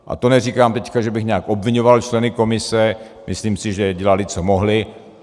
A to neříkám teď, že bych nějak obviňoval členy komise, myslím si, že dělali, co mohli.